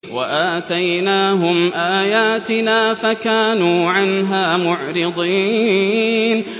وَآتَيْنَاهُمْ آيَاتِنَا فَكَانُوا عَنْهَا مُعْرِضِينَ